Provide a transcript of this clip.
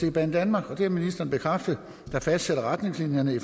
er banedanmark og det har ministeren bekræftet der fastsætter retningslinjerne